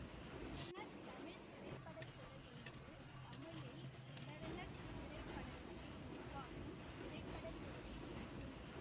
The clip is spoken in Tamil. விபரண தமிழ் திரைப்பட துறை என்பது தமிழில் விபரண திரைப்படங்களை உருவாக்கும் திரைப்பட துறையை குறிக்கும்